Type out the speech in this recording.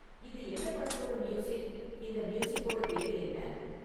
இது எந்தப் படத்தோட மியூசிக் இந்த மியூசிக்கோட பேரு என்ன?